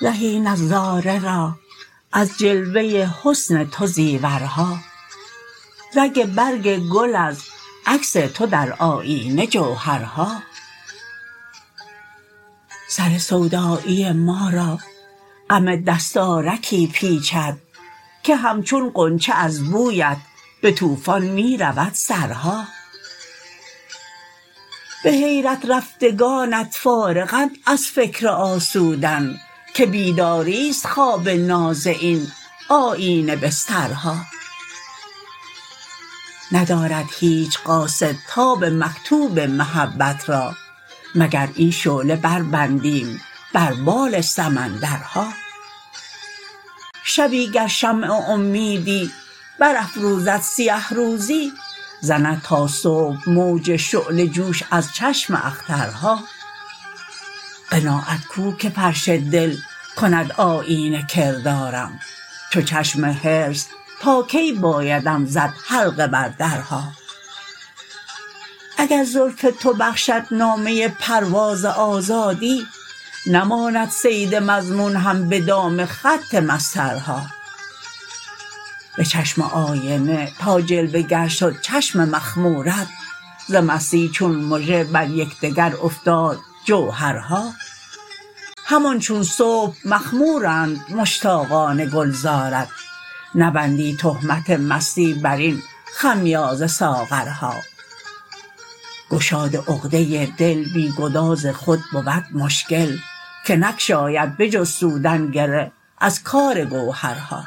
زهی نظاره را ازجلوه حسن تو زیورها رگ برگ گل ازعکس تو درآیینه جوهرها سر سودایی ما را غم دستارکی پیچد که همچون غنچه از بویت به توفان می رود سرها به حیرت رفتگانت فارغند از فکر آسودن که بیداری ست خواب ناز این آیینه بسترها ندارد هیچ قاصد تاب مکتوب محبت را مگر این شعله بربندیم بر بال سمندرها شبی گر شمع امیدی برافروزد سیهروزی زند تاصبح موج شعله جوش از چشم اخترها قناعت کوکه فرش دل کند آیینه کردارم چو چشم حرص تاکی بایدم زد حلقه بر درها اگر زلف تو بخشد نامه پرواز آزادی نماند صید مضمون هم به دام خط مسطرها به چشم آینه تا جلوه گرشد چشم مخمورت ز مستی چون مژه بریکدگرافتاد جوهرها همان چون صبح مخمورند مشتاقان گلزارت نبندی تهمت مستی براین خمیازه ساغرها گشاد عقده دل بی گداز خود بود مشکل که نگشاید به جز سودن گره ازکارگوهرها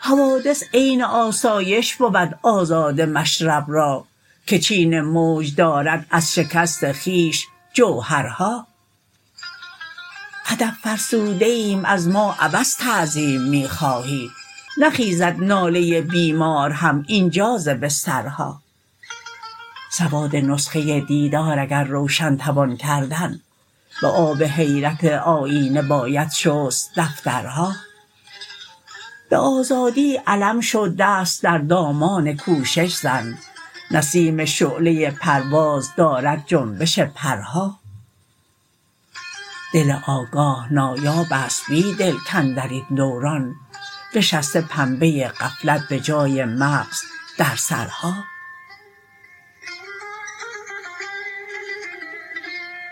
حوادث عین آسایش بود آزاده مشرب را که چین موج دارد ازشکست خویش جوهرها ادب فرسوده ایم ازما عبث تعظیم می خواهی نخیزد ناله بیمار هم اینجا ز بسترها سواد نسخه دیدار اگر روشن توان کردن به آب حیرت آیینه باشد شست دفترها به آزادی علم شو دست در دامان کوشش زن نسیم شعله پرواز دارد جنبش پرها دل آگاه نایاب است بیدل کاندرین دوران نشسته پنبه غفلت به جای مغز در سرها